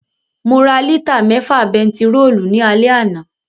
Mo ra lítà mẹ́fà bentiróòlù ní alẹ́ àná